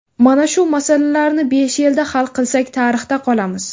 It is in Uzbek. Mana shu masalalarni besh yilda hal qilsak tarixda qolamiz.